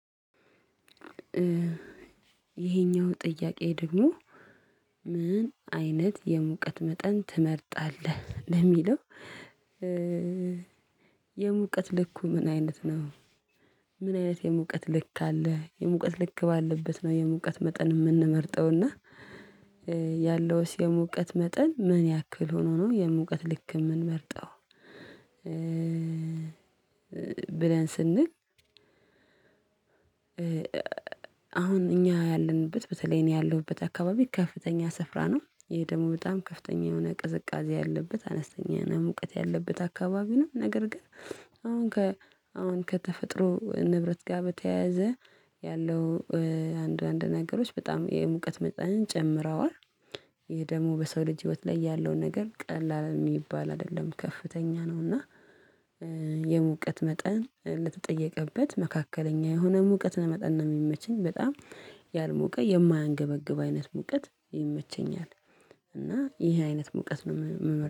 ይሄኛው ጥያቄ ደግሞ ምን አይነት የሙቀት መጠን ትመርጣለህ ለሚለው? የሙቀት ልኩ ምን አይነት ነው። ምን አይነት የሙቀት ልክ አለ? የሙቀት ልክ ባለበት ነው የሙቀት መጠን የምንመርጠው እና። ያለውስ የሙቀት መጠን ምን ያክል ሆኖ ነው የሙቀት ልክ የምንመርጠው? ብለን ስንል። አሁን እኛ ያለንበት በተለይ እኔ ያለሁበት አካባቢ ከፍተኛ ስፍራ ነው። ይሄ ደግሞ በጣም ከፍተኛ የሆነ ቅዝቃዜ ያለበት አነስተኛ እና ሙቀት ያለበት አካባቢ ነው። ነገር ግን አሁን ከአሁን ከተፈጥሮ ንብረት ጋር በተያያዘ ያለው አንድ አንድ ነገሮች በጣም የሙቀት መጠንን ጨምረዋል። ይሄ ደግሞ በሰው ልጅ ህይወት ላይ ያለው ነገር ቀላል የሚባል አይደለም ከፍተኛ ነው። እና የሙቀት መጠን ለተጠየቀበት መካከለኛ የሆነ ሙቀት ለመጠን ነው የሚመቸኝ። በጣም ያልሞቀ የማያንገበግብ አይነት ሙቀት ይመቸኛል። እና ይሄ አይነት ሙቀት ነው የምመርጠው